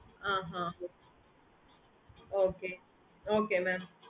ah ah okay okay mam